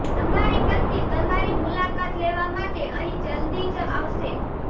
તમારી પત્ની તમારી મુલાકાત લેવા માટે અહીં જલદી જ આવશે